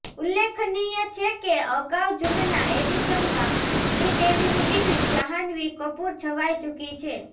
ઉલ્લેખનીય છે કે અગાઉ જૂનના એડિશનમાં શ્રીદેવીની દિકરી જ્હાન્વી કપૂર છવાઇ ચુકી છે